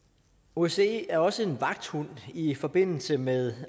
osce er også en vagthund i forbindelse med